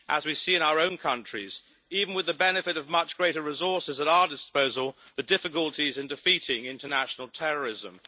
We see in our own countries, even with the benefit of much greater resources at our disposal, the difficulties in defeating international terrorism.